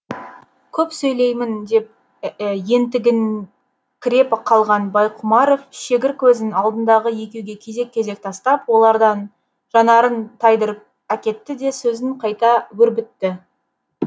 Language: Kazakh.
көп сөйлеймін деп ентігіңкіреп қалған байқұмаров шегір көзін алдындағы екеуге кезек кезек тастап олардан жанарын тайдырып әкетті де сөзін қайта өрбітті